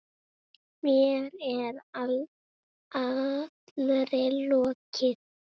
Mér er allri lokið.